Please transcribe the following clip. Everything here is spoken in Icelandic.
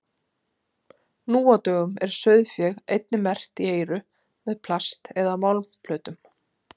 nú á dögum er sauðfé einnig merkt í eyru með plast eða málmplötum